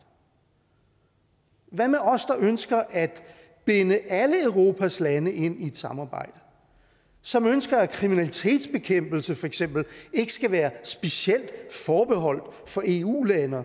hvad med os der ønsker at binde alle europas lande ind i et samarbejde som ønsker at kriminalitetsbekæmpelse for eksempel ikke skal være specielt forbeholdt eu lande